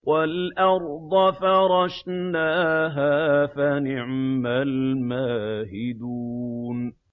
وَالْأَرْضَ فَرَشْنَاهَا فَنِعْمَ الْمَاهِدُونَ